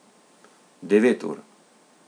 Devet ur.